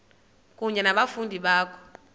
kunye nabafundi bakho